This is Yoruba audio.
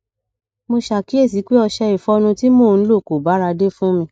mo ṣàkíyèsí pé ọṣẹ ìfọnu tí mò ń lò kò báradé fún mi